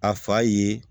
A fa ye